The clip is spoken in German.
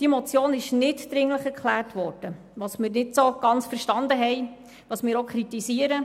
Die Motion wurde als nicht dringlich erklärt, was wir nicht ganz verstanden haben und auch kritisieren.